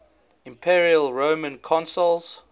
imperial roman consuls